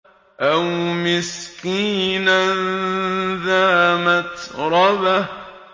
أَوْ مِسْكِينًا ذَا مَتْرَبَةٍ